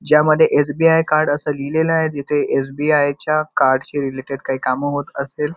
ज्या मध्ये SBI card असं लिहलेलं आहे जिथे एस_बी_आई च्या कार्ड च्या रेलटेड काही काम होत असतील.